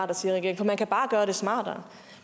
regeringen for man kan bare gøre det smartere